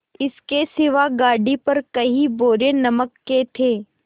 इसके सिवा गाड़ी पर कई बोरे नमक के थे